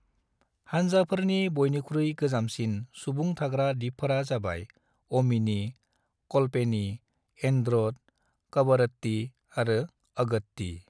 हान्जाफोरनि बयनिख्रुइ गोजामसिन सुंबुं थाग्रा दिपफोरा जाबाय अमिनी, कल्पेनी एन्ड्रोट, कवरत्ती आरो अगत्ती ।